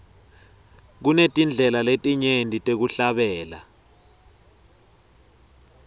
kunetindlela letinyenti tekuhlabela